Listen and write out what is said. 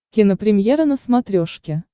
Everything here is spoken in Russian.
кинопремьера на смотрешке